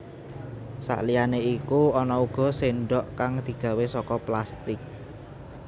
Saliyané iku ana uga séndhok kang digawé saka plastik